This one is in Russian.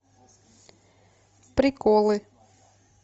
приколы